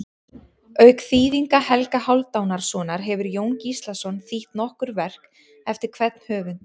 Auk þýðinga Helga Hálfdanarsonar hefur Jón Gíslason þýtt nokkur verk eftir hvern höfund.